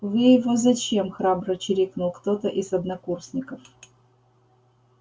вы его зачем храбро чирикнул кто-то из однокурсников